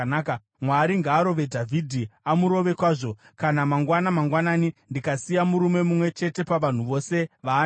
Mwari ngaarove Dhavhidhi, amurove kwazvo, kana mangwana mangwanani ndikasiya murume mumwe chete pavanhu vose vaanavo!”